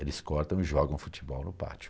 Eles cortam e jogam futebol no pátio.